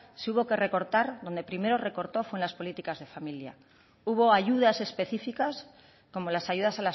sí hubo que recortar donde primero recortó fue en las políticas de familia hubo ayudas específicas como las ayudas